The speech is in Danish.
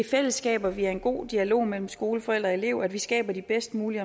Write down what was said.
fællesskab og via en god dialog mellem skole forældre og elever at vi skaber de bedst mulige